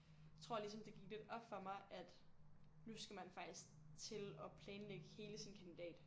Tror ligesom det gik lidt op for mig at nu skal man faktisk til at planlægge hele sin kandidat